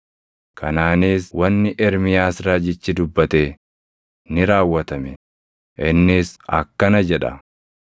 Kanaanis wanni Ermiyaas raajichi dubbate ni raawwatame. Innis akkana jedha: